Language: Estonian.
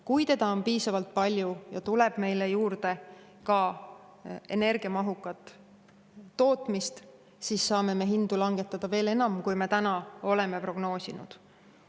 Kui seda on piisavalt palju ja tuleb meile juurde ka energiamahukat tootmist, siis saame me hindu langetada veel enam, kui me täna oleme prognoosinud.